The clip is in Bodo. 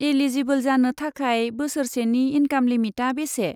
एलिजिबोल जानो थाखाय बोसोरसेनि इनकाम लिमिटआ बेसे?